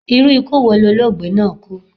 Irú ikú wo lologbe náà kú?